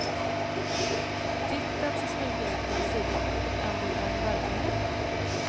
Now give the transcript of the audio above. Titeln ser snyggare ut på visitkortet än den är i verkligheten.